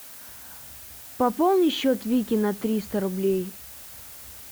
пополни счет вики на триста рублей